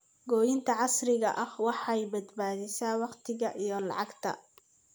Goynta casriga ah waxay badbaadisaa waqti iyo lacag.